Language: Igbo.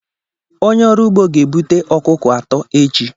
Onye ọrụ ugbo ga-ebute ọkụkọ atọ echi.